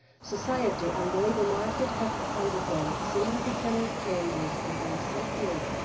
Society and the labour market have undergone significant changes in the recent period.